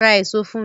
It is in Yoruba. Ra èso fún mi!